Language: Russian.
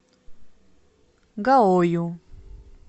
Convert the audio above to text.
гаою